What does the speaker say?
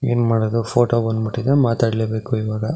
ಏನ್ ಮಾಡೋದು ಫೋಟೋದು ಬಂದ್ ಬಿಟ್ಟಿದೆ ಮಾತಾಡ್ಲೆ ಬೇಕು ಇವಾಗ .